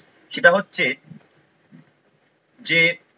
সেতা হচ্ছে যে